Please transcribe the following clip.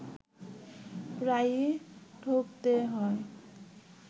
প্রায়ই ঠকতে হয়